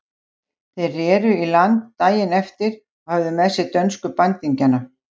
Þeir reru í land daginn eftir og höfðu með sér dönsku bandingjana.